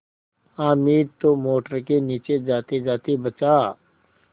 हामिद तो मोटर के नीचे जातेजाते बचा